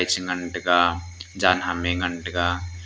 ngan taiga jan ham e ngan taiga.